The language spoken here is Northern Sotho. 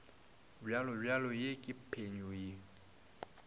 bjalobjalo ye ke phenyo ye